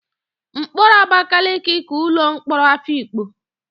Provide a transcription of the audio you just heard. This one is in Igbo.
Mkpọrọ Abakaliki ka ụlọ mkpọrọ Afikpo.